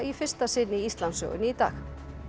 í fyrsta sinn í Íslandssögunni í dag